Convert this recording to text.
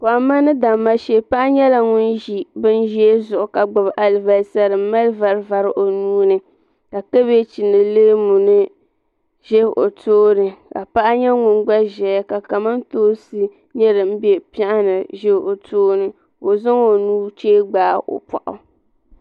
Kohamma ni damma shee paɣa nyɛla ŋun ʒi binʒee zuɣu ka gbibi alibasa fin mali vari vari o nuuni ka kabaji ni leemu nima ʒɛ o tooni ka paɣa nyɛ ŋun gba ʒia ka kamantoosi nima be piɛɣu ni ʒɛ o tooni ka o zaŋ o nuchee gbaagi o boɣu.